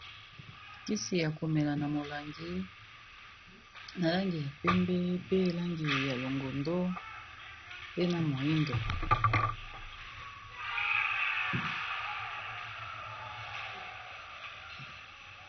Kisi ya komela na molangi na langi ya pembe pe na langi ya longondo pe na moyindo.